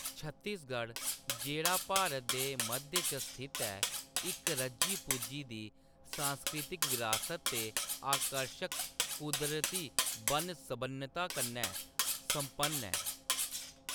छत्तीसगढ़, जेह्‌‌ड़ा भारत दे मध्य च स्थित ऐ, इक रज्जी-पुज्जी दी सांस्कृतिक बरासत ते आकर्शक कुदरती बन्न-सबन्नता कन्नै सम्पन्न ऐ।